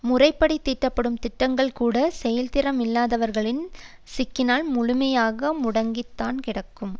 முறைப்படித் தீட்டப்படும் திட்டங்கள்கூடச் செயல் திறன் இல்லாதவர்களிடம் சிக்கினால் முழுமையாகாமல் முடங்கி தான் கிடக்கும்